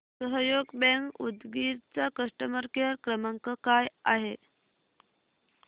सहयोग बँक उदगीर चा customer care क्रमांक काय आहे